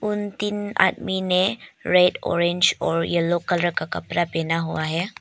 उन तीन आदमी ने रेड ऑरेंज और येलो कलर का कपड़ा पहना हुआ है।